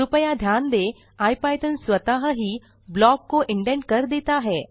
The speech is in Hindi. कृपया ध्यान दें इपिथॉन स्वतः ही ब्लॉक को इंडेंट कर देता है